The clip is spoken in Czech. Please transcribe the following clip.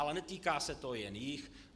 Ale netýká se to jen jich.